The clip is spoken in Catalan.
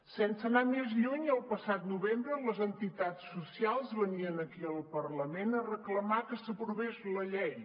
sense anar més lluny el passat novembre les entitats socials venien aquí al parlament a reclamar que s’aprovés la llei